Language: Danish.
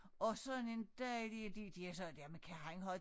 Og sådan en dejlig de de er så jamen kan han have